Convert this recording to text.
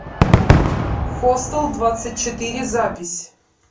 хостел двадцать четыре запись